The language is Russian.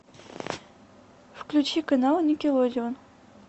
включи канал никелодеон